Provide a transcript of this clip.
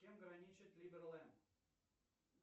с чем граничит ливерлэнд